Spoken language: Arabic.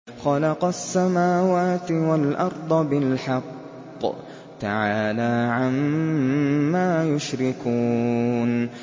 خَلَقَ السَّمَاوَاتِ وَالْأَرْضَ بِالْحَقِّ ۚ تَعَالَىٰ عَمَّا يُشْرِكُونَ